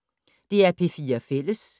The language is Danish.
DR P4 Fælles